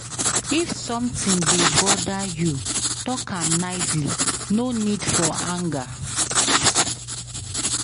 If sometin dey bother you, tok am nicely, no need for anger.